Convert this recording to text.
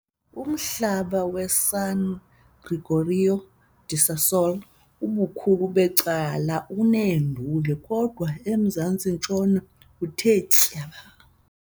Umhlaba waseSan Gregorio da Sassola ubukhulu becala uneenduli, kodwa emazantsi-ntshona uthe tyaba.